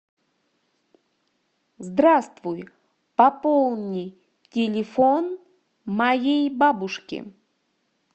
здравствуй пополни телефон моей бабушки